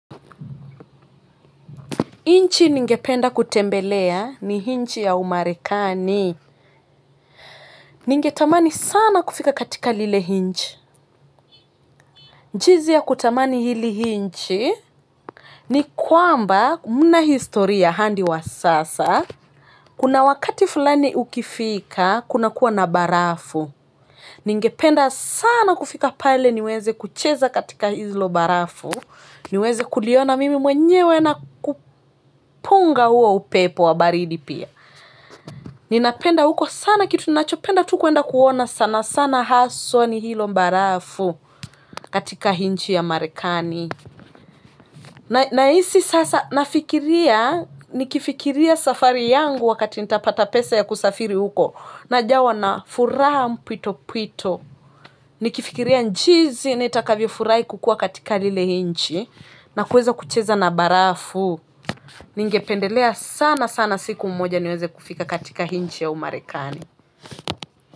Nchi ningependa kutembelea ni nchi ya umarekani. Ningetamani sana kufika katika lile nchi. Jinsi ya kutamani hili nchi. Ni kwamba muna historia hadi wa sasa. Kuna wakati fulani ukifika kunakuwa na barafu ningependa sana kufika pale niweze kucheza katika hilo barafu. Niweze kuliona mimi mwenyewe na kupunga huo upepo wa baridi pia ninapenda huko sana kitu ninachopenda tu kwenda kuona sana sana haswa ni hilo barafu katika nchi ya Marekani. Nahisi sasa nafikiria, nikifikiria safari yangu wakati nitapata pesa ya kusafiri huko. Najawa na furaha mpwito mpwito. Nikifikiria jinsi nitakavyo furahi kukua katika lile nchi na kuweza kucheza na barafu. Ningependelea sana sana siku mmoja niweze kufika katika nchi ya umarekani.